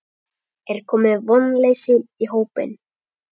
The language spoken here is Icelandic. Er komið vonleysi í hópinn?